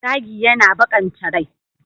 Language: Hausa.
Zagi yana baƙanta rai.